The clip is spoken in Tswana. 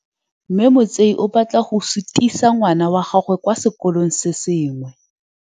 Mme Motsei o batla go sutisa ngwana wa gagwe kwa sekolong se sengwe.